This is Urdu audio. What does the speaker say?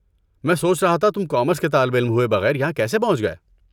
میں سوچ رہا تھا تم کامرس کے طالب علم ہوئے بغیر یہاں کیسے پہنچ گئے۔